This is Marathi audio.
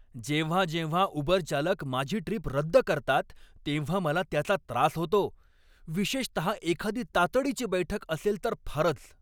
जेव्हा जेव्हा उबर चालक माझी ट्रीप रद्द करतात तेव्हा मला त्याचा त्रास होतो, विशेषतः एखादी तातडीची बैठक असेल तर फारच.